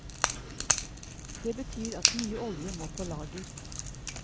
Det betyr at mye olje må på lager.